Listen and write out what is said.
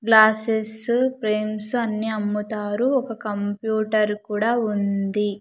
Glasses frames అన్ని అమ్ముతారు ఒక కంప్యూటర్ కూడా ఉంది.